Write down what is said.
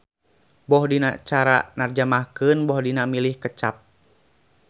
Boh dina cara narjamahkeun boh dina milih kecap.